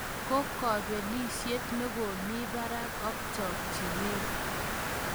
Ko kobelisyet nekomi barak ak chokchinet